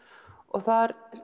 þar